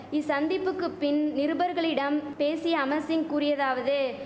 இசந்திப்புக்கு பின் நிருபர்களிடம் பேசிய அமர் சிங் கூறியதாவது